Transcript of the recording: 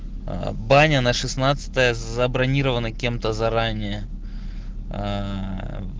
аа баня на шестнадцатое забронирована кем-то заранее ээ